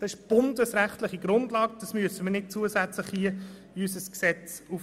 Das ist eine bundesrechtliche Grundlage, das müssen wir hier nicht zusätzlich in unser Gesetz aufnehmen.